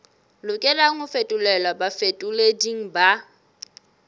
lokelang ho fetolelwa bafetoleding ba